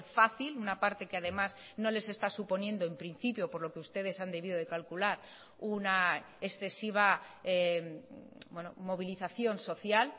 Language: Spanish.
fácil una parte que además no les está suponiendo en principio por lo que ustedes han debido de calcular una excesiva movilización social